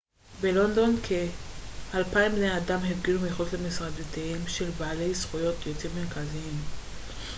בלונדון כ-200 בני אדם הפגינו מחוץ למשרדיהם של בעלי זכויות יוצרים מרכזיים